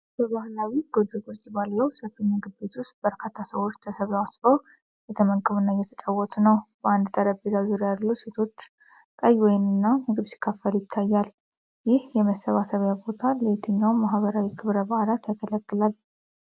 በባህላዊ ጎጆ ቅርፅ ባለው ሰፊ ምግብ ቤት ውስጥ በርካታ ሰዎች ተሰባስበው እየተመገቡና እየተጨዋወቱ ነው። በአንድ ጠረጴዛ ዙሪያ ያሉ ሴቶች ቀይ ወይንና ምግብ ሲካፈሉ ይታያል። ይህ የመሰብሰቢያ ቦታ ለየትኞቹ ማኅበራዊ ክብረ በዓላት ያገለግላል?